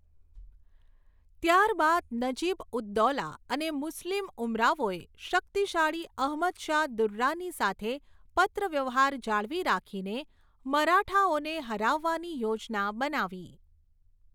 ત્યારબાદ નજીબ ઉદ દૌલા અને મુસ્લિમ ઉમરાવોએ શક્તિશાળી અહમદ શાહ દુર્રાની સાથે પત્રવ્યવહાર જાળવી રાખીને મરાઠાઓને હરાવવાની યોજના બનાવી.